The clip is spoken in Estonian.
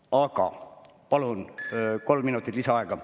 Aga palun kolme minutit lisaaega.